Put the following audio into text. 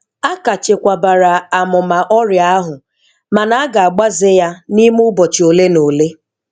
A ka chekwabara amụma ọrịa ahụ mana a ga-agbaze ya n'ime ụbọchị ole na ole.